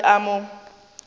ka re ke a mo